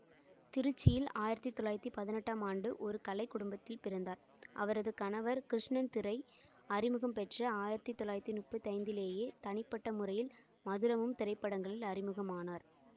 திருச்சியில் ஆயிரத்தி தொள்ளாயிரத்தி பதினெட்டாம் ஆண்டு ஒரு கலைக்குடும்பத்தில் பிறந்தார் அவரது கணவர் கிருஷ்ணன் திரை அறிமுகம் பெற்ற ஆயிரத்தி தொள்ளாயிரத்தி முப்பத்தி ஐந்துலேயே தனிப்பட்ட முறையில் மதுரமும் திரைப்படங்களில் அறிமுகம் ஆனார்